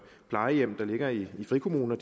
plejehjem der ligger i frikommuner